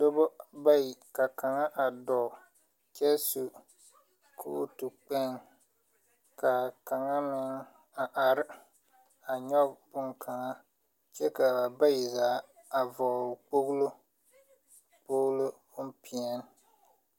Doba bayi ka kaŋa a dɔɔ kyɛ su kootu kpɛŋ kaa kaŋa meŋ a are a nyɔge bonkaŋa kyɛ kaa bayi zaa a vɔgle kpoŋlo kpoŋlo bonpeɛɛni.